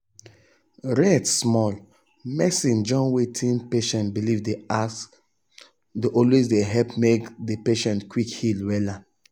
rest smallah rest smallah doc with nurse dem supposeas in dey take respect ask questions about religion.